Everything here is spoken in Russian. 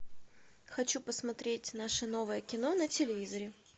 хочу посмотреть наше новое кино на телевизоре